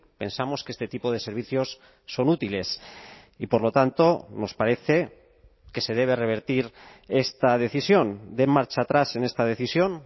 pensamos que este tipo de servicios son útiles y por lo tanto nos parece que se debe revertir esta decisión dé marcha atrás en esta decisión